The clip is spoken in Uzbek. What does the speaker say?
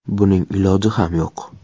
Buning iloji ham yo‘q.